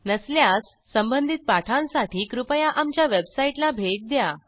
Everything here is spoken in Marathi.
नसल्यास संबंधित पाठांसाठी कृपया आमच्या वेबसाईटला भेट द्या